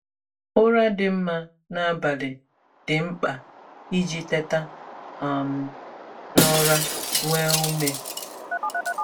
Ụra dị mma n’abalị dị mkpa iji teta um n’ụra nwee ume.